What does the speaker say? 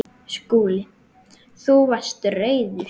SKÚLI: Þú varst reiður.